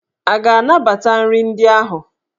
A ga-anabata nri ndị ahụ?